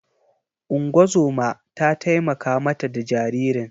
Ungozoma ta taimaka ma ta da jaririn.